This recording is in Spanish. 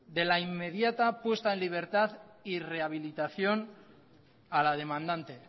de la inmediata puesta en libertad y rehabilitación a la demandante